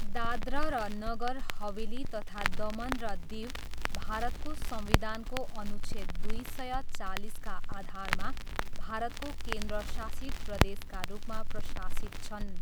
दादरा र नगर हवेली तथा दमन र दिव भारतको संविधानको अनुच्छेद दुई सय चालिसका आधारमा भारतको केन्द्र शासित प्रदेशका रूपमा प्रशासित छन्।